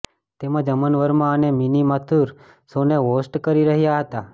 તેમજ અમન વર્મા અને મિની માથુર શોને હોસ્ટ કરી રહ્યાં હતા